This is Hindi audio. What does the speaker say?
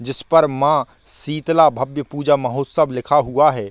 जिस पर मां शीतला भव्य पूजा लिखा हुआ है।